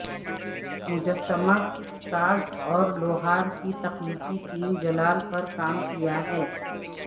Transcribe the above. مجسمہ ساز اور لوہار کی تخلیقی ٹیم جلال پر کام کیا ہے